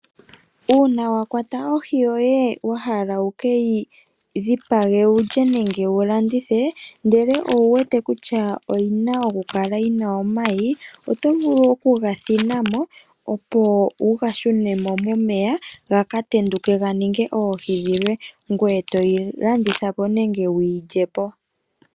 Uuna wa kwata ohi yoye wa hala wu keyi dhipage wulye nenge wu landithe ndele owu wete kutya oyina oku kala yina omayi, oto vulu oku gathina mo opo wu gashune mo momeya gaka tenduke ga ninge oohi dhilwe, ngoye toyi landitha po nenge wuyi lye po.